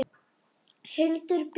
Hildur Björg.